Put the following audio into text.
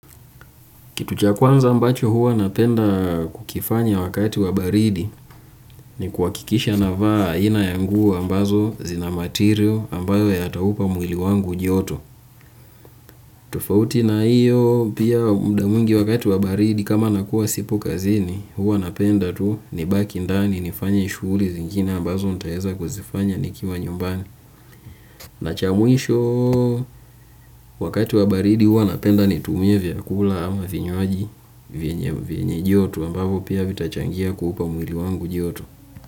Kitu cha kwanza ambacho huwa napenda kukifanya wakati wa baridi ni kuhakikisha navaa aina ya nguo ambazo zina material ambayo yataupa mwili wangu joto. Tofauti na hiyo pia muda mwingi wakati wa baridi kama nakuwa sipo kazini huwa napenda tu nibaki ndani nifanye shughuli zingine ambazo nitaweza kuzifanya nikiwa nyumbani. Na cha mwisho wakati wa baridi huwa napenda nitumie vyakula ama vinywaji vyenye vyenye joto ambavyo pia vitachangia kuupa mwili wangu joto.